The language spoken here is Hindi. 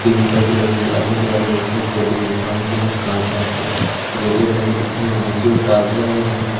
तीन टेंपू लगे है। गई सामने देख कांच वाच के गेटे लगाई दिखाई देने नीचे जो--